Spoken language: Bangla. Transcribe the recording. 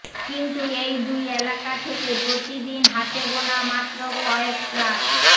কিন্তু এই দুই এলাকা থেকে প্রতিদিন হাতেগোনা মাত্র কয়েক ট্রাক